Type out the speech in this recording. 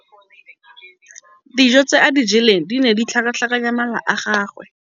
Dijô tse a di jeleng di ne di tlhakatlhakanya mala a gagwe.